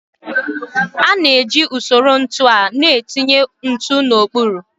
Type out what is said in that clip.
A na-eji usoro ntu a na-etinye ntu n'okpuru.